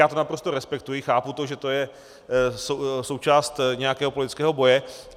Já to naprosto respektuji, chápu to, že to je součást nějakého politického boje.